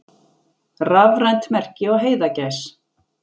Rafrænt merki á heiðagæs.